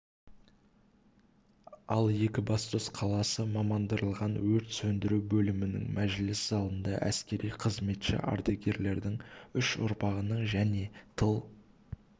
ал екібастұз қаласы мамандырылған өрт сөндіру бөлімінің мәжіліс залында әскери қызметші ардагерлердің үш ұрпағының және тыл